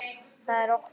Það er okkar.